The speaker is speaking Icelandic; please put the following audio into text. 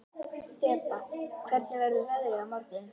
Þeba, hvernig verður veðrið á morgun?